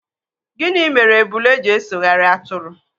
Gịnị mere ebule ji esoghari atụrụ?